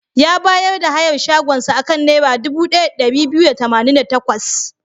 Ya bayar da hayar shagonsa a kan Naira dubu ɗaya da ɗari biyu da tamanin da takwas.